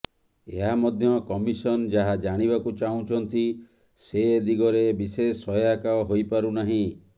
ଏହା ମଧ୍ୟ କମିସନ ଯାହା ଜାଣିବାକୁ ଚାହୁଁଛନ୍ତି ସେ ଦିଗରେ ବିଶେଷ ସହାୟକ ହୋଇପାରୁନାହିଁ